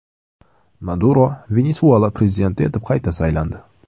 Maduro Venesuela prezidenti etib qayta saylandi.